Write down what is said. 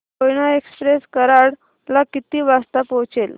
Koyna express Karad ला किती वाजता पोहचेल